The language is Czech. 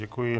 Děkuji.